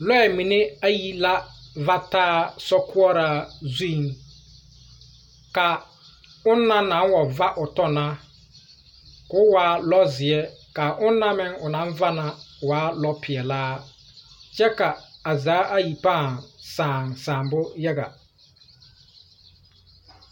Lɔɛ mine ayai la va taa sokoɔraa zuŋ. Ka onaŋ naŋ wa va o tɔ na, k’o waa lɔzeɛ. Ka ona meŋ o naŋ va na waa lɔpeɛlaa, kyɛ ka a zaa ayi pãã saa saanbo yaga.